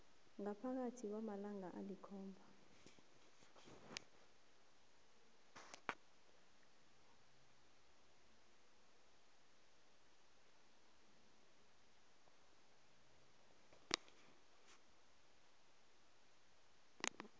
ngaphakathi kwamalanga alikhomba